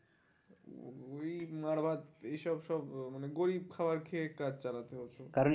ওই মার ভাত এই সব সব মানে গরিব খাবার খেয়ে কাজ চালাতে হতো